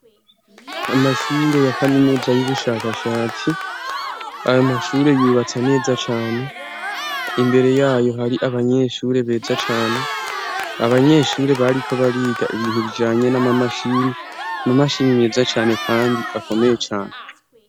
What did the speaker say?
Amashure ya kaminuza y'ubushakashatsi, ayo mashure yubatse neza cane. Imbere yayo hari abanyeshure beza cane. Abanyeshure bariko bariga ibintu bijanye n'amamashini, amamashini neza cane kandi akomeye cane.